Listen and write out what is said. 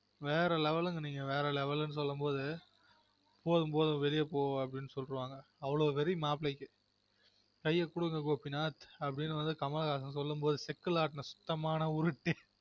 வேற level நெனைக்கிறன் வேற level நு சொல்லும்போது போதும் போதும் வெளிய போனு சொல்லிவாங்க அவ்லொ வெறி மாப்பிள்ளைக்கு கைய குடுங்க கோபி நாத் அப்டினு வந்து கமல்ஹாசன் சொல்லும்போது செக்குல ஆட்டுன சுத்தமான உருட்டு